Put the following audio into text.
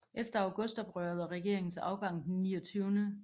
Efter Augustoprøret og regeringens afgang den 29